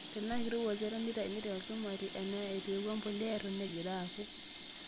Tenaa keirowua olchata teneitayuni tolchumati naa etueaku empulia neton egira akuu.